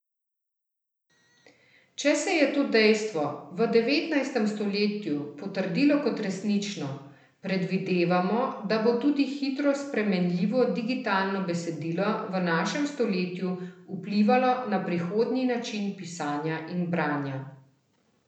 Če se je to dejstvo v devetnajstem stoletju potrdilo kot resnično, predvidevamo, da bo tudi hitro spremenljivo digitalno besedilo v našem stoletju vplivalo na prihodnji način pisanja in branja.